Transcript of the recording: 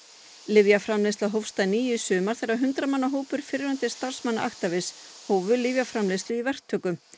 lyfjaframleiðsla hófst að nýju í sumar þegar hundrað manna hópur fyrrverandi starfsmanna Actavis hófu lyfjaframleiðslu í verktöku